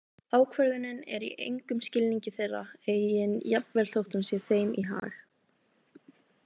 Ákvörðunin er í engum skilningi þeirra eigin jafnvel þótt hún sé þeim í hag.